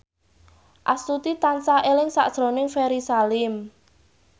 Astuti tansah eling sakjroning Ferry Salim